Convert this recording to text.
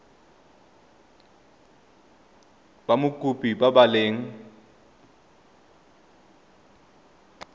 ba mokopi ba ba leng